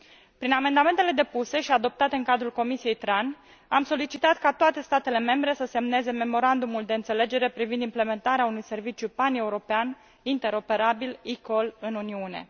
Prin amendamentele depuse și adoptate în cadrul Comisiei pentru transport și turism, am solicitat ca toate statele membre să semneze memorandumul de înțelegere privind implementarea unui serviciu paneuropean interoperabil eCall în Uniune.